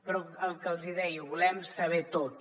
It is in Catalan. però el que els hi deia ho volem saber tot